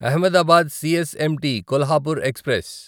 Ahmedabad CSMT Kolhapur express